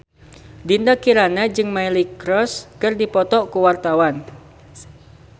Dinda Kirana jeung Miley Cyrus keur dipoto ku wartawan